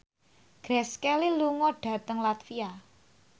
Grace Kelly lunga dhateng latvia